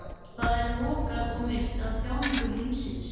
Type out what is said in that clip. Það er lokað og myrkt af þjáningu heimsins.